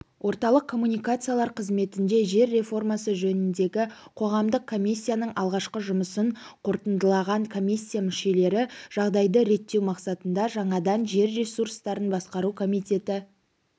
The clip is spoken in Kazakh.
орталық коммуникациялар қызметінде жер реформасы жөніндегі қоғамдық комиссияның алғашқы жұмысын қорытындылаған комиссия мүшелері жағдайды реттеу мақсатында жаңадан жер ресурстарын басқару комитеті